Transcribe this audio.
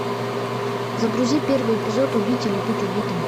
загрузи первый эпизод убить или быть убитым